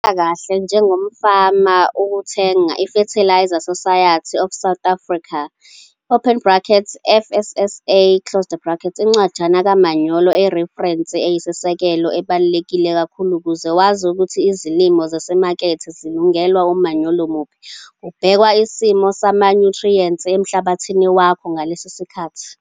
Kukusebenzela kahle njengomfama ukuthenga iFertiliser Society of South Africa, FSSA, - Incwajana kamanyolo eyireferensi eyisisekelo ebaluleke kakhulu ukuze wazi ukuthi izilimo zezimakethe zilungelwe umanyolo muphi kubhekwa isimo samanyuthriyenti emhlabathini wakho ngaleso sikhathi.